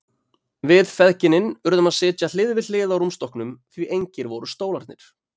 Við feðginin urðum að sitja hlið við hlið á rúmstokknum því engir voru stólarnir.